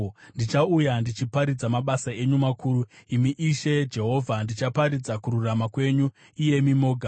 Ndichauya ndichiparidza mabasa enyu makuru, imi Ishe Jehovha; ndichaparidza kururama kwenyu, iyemi moga.